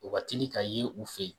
O ka teli ka yen u fɛ yen